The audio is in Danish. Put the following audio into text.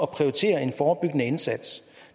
prioritere en forebyggende indsats